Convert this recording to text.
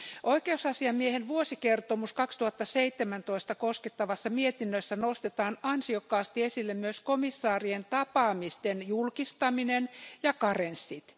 Oikeusasiamiehen vuosikertomusta 2017 koskevassa mietinnössä nostetaan ansiokkaasti esille myös komissaarien tapaamisten julkistaminen ja karenssit.